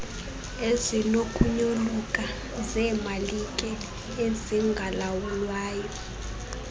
ezinokunyoluka zeemalike ezingalawulwayo